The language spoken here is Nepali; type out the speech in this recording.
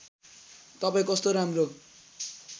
तपाईँ कस्तो राम्रो